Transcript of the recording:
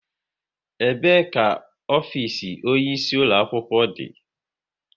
Ebe ka ofisi onye isi ulo akwụkwọ dị?